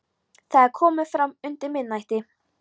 Það er komið fram undir miðnætti.